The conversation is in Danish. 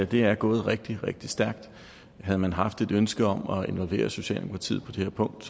det er gået rigtig rigtig stærkt havde man haft et ønske om at involvere socialdemokratiet på det her punkt